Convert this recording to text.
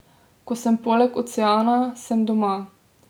Ko sem poleg oceana, sem doma.